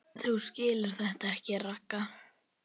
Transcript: Þú skilur þetta ekki, Ragga.